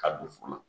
Ka don funu na